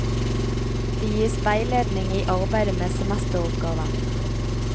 Det gis veiledning i arbeidet med semesteroppgaven.